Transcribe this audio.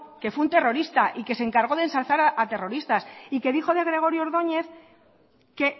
que fue un terrorista y que se encargó de ensalzar a terroristas y que dijo de gregorio ordóñez que